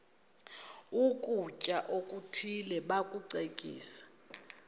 ukutya okuthile bakucekise